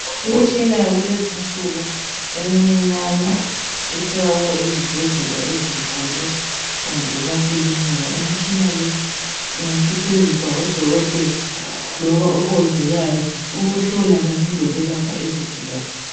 Imitshina yakulezi nsuku emincinyane etholakala ezibhedlela ezinkulu kumbe emakilinika imitshina le ingasetshenziswa ngodokotela loba omongikazi ukuhlola kanye lokwelapha izigulane.